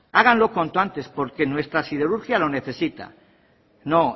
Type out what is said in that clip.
háganlo cuanto antes porque nuestra siderurgia lo necesita